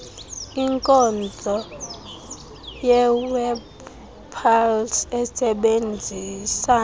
inkonzo yewebpals isebenzisana